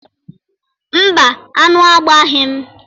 Mba, aṅụ agbaghi m.